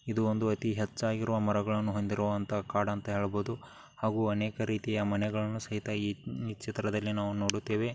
ಇದು ಒಂದು ಅತಿ ಹೆಚ್ಚಾಗಿರುವ ಮರಗಳನ್ನು ಹೊಂದಿರುವಂತ ಕಾಡು ಅಂತ ಹೇಳ್ಬೋದು. ಹಾಗು ಅನೇಕ ರೀತಿಯ ಮನೆಗಳನ್ನೂ ಸಹಿತ ಈ ಚಿತ್ರದಲ್ಲಿ ನಾವು ನೋಡುತ್ತೀವಿ.